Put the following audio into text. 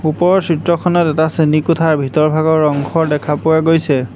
ওপৰৰ চিত্ৰখনত এটা শ্ৰেণীকোঠাৰ ভিতৰ ভাগৰ অংশ দেখা পোৱা গৈছে।